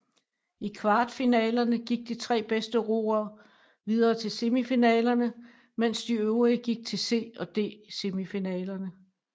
I kvartfinalerne gik de tre bedste roere videre til semifinalerne mens de øvrige gik til C og D semifinaler